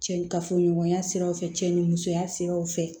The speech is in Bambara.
Cɛ ni kafoɲɔgɔnya siraw fɛ cɛ ni musoya siraw fɛ